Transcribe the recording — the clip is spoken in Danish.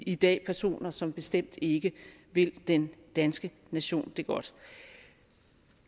i dag personer som bestemt ikke vil den danske nation det godt